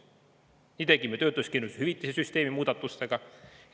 Nii tegime töötuskindlustushüvitise süsteemi muudatustega.